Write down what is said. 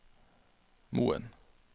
Moen